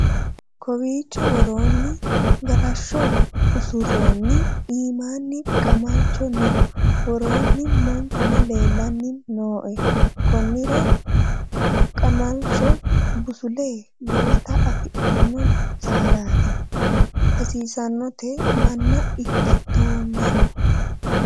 kowiicho woroonni galashsho usuroonni iimanni qamalcho no worronni manchuno leellanni nooe konnira qamalalcho busulle lowota afidhino saadaati hasiisannote manna ikkitoommero